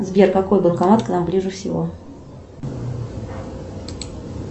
сбер какой банкомат к нам ближе всего